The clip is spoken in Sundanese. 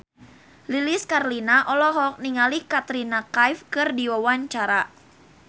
Lilis Karlina olohok ningali Katrina Kaif keur diwawancara